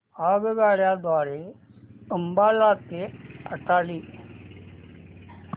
आगगाडी द्वारे अंबाला ते अटारी